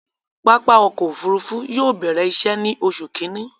Pápá ọkọ̀ òfurufú yóò bẹ̀rẹ̀ iṣẹ̀ ni Oṣu Kínní